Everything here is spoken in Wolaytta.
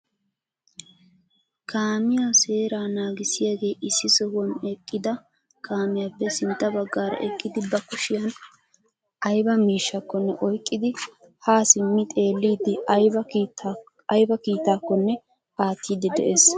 Kaamiyaa seera naagissiyaagee issi sohuwan eqqida kaamiyaappe sintta bagaara eqqidi ba kushshiyaan aybba miishshakko oyqqidi ha simmi xeellidi aybba kiitakkonne aartidi de'ees.